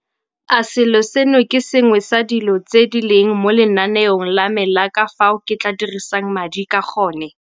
A selo seno ke se sengwe sa dilo tse di leng mo lenaneong la me la ka fao ke tla dirisang madi ka gone?